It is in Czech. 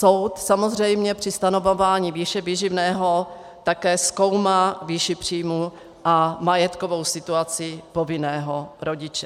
Soud samozřejmě při stanovování výše výživného také zkoumá výši příjmů a majetkovou situaci povinného rodiče.